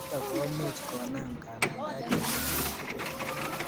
Nitok komuch konam kanamdaet eng ngondut tugul